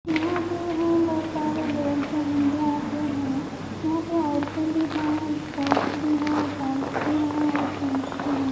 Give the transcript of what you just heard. यहाँ पे हैं बहुत सारे लोग जो हिंदुओं के हैं यहाँ पे औरतें भी है गर्ल्स भी है बॉयज भी है और जेन्स भी हैं।